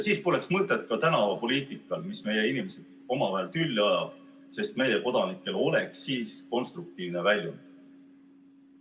Siis poleks mõtet ka tänavapoliitikal, mis meie inimesed omavahel tülli ajab, sest meie kodanikel oleks konstruktiivne väljund.